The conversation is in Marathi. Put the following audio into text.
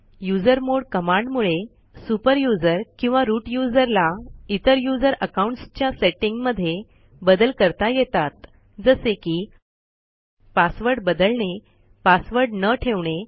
युझरमॉड कमांडमुळे सुपर यूझर किंवा रूट यूझर ला इतर यूझर अकाऊंटसच्या सेटींग मध्ये बदल करता येतात जसे की पासवर्ड बदलणे पासवर्ड न ठेवणे